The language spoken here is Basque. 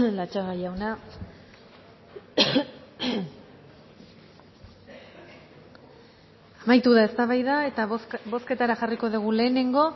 latxaga jauna amaitu da eztabaida eta bozketara jarriko dugu lehenengo